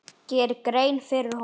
geri grein fyrir honum?